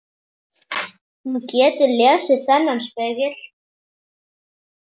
Hún getur lesið þennan spegil.